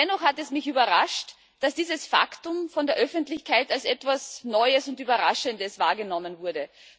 Dennoch hat es mich überrascht, dass dieses Faktum von der Öffentlichkeit als etwas Neues und Überraschendes wahrgenommen wurde.